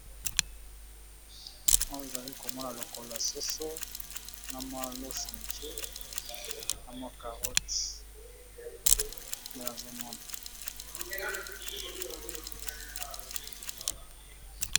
onz ezali komona lokola soso na malos moke amakarot elazamon